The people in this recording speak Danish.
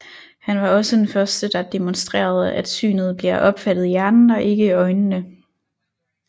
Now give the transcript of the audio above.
Han var også den første der demonstrerede at synet bliver opfattet i hjernen og ikke i øjnene